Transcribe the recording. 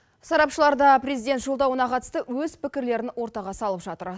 сарапшылар да президент жолдауына қатысты өз пікірлерін ортаға салып жатыр